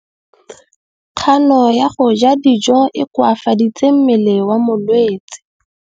Kganô ya go ja dijo e koafaditse mmele wa molwetse.